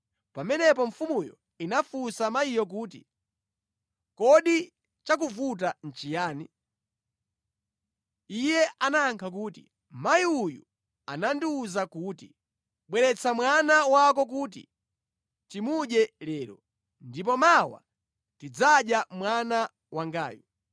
Pamenepo mfumuyo inafunsa mayiyo kuti, “Kodi chakuvuta nʼchiyani?” Iye anayankha kuti, “Mayi uyu anandiwuza kuti, ‘Bweretsa mwana wako kuti timudye lero, ndipo mawa tidzadya mwana wangayu.’